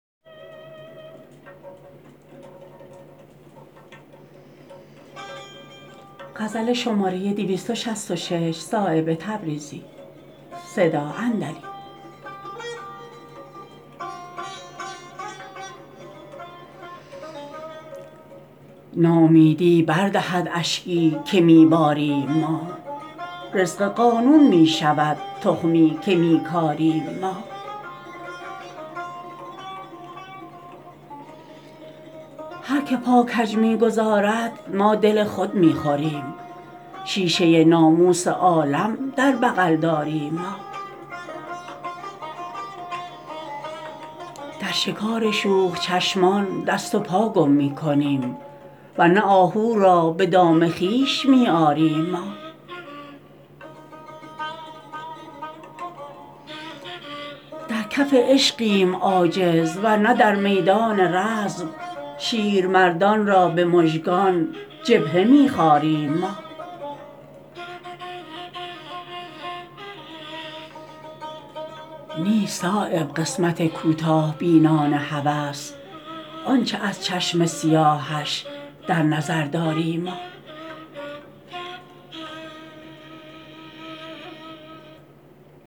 ناامیدی بر دهد اشکی که می باریم ما رزق قانون می شود تخمی که می کاریم ما هر که پا کج می گذارد ما دل خود می خوریم شیشه ناموس عالم در بغل داریم ما در شکار شوخ چشمان دست و پا گم می کنیم ور نه آهو را به دام خویش می آریم ما در کف عشقیم عاجز ور نه در میدان رزم شیرمردان را به مژگان جبهه می خاریم ما نیست صایب قسمت کوتاه بینان هوس آن چه از چشم سیاهش در نظر داریم ما